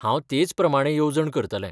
हांव तेच प्रमाणें येवजण करतलें.